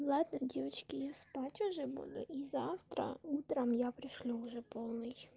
ладно девочки я спать уже буду и завтра утром я пришлю уже полный